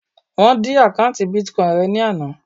Wọ́n dí àkọ́ùntì Bitcoin rẹ̀ ní àná.